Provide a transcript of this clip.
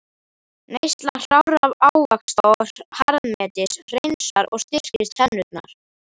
Neysla hrárra ávaxta og harðmetis hreinsar og styrkir tennurnar.